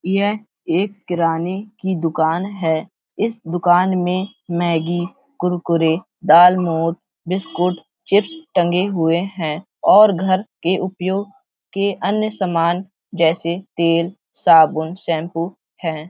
यह एक किराने की दुकान है। इस दुकान में मैगी कुरकुरे दालमोट बिस्कुट चिप्स टंगे हुए हैं और घर के उपयोग के अन्य सामान जैसे तेलसाबुनशैम्पू हैं।